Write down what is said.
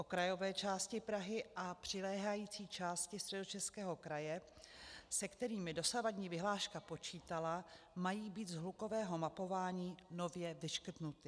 Okrajové části Prahy a přiléhající části Středočeského kraje, se kterými dosavadní vyhláška počítala, mají být z hlukového mapování nově vyškrtnuty.